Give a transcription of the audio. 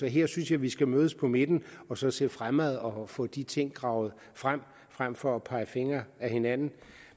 her synes jeg vi skal mødes på midten og så se fremad og få de ting gravet frem frem for at pege fingre ad hinanden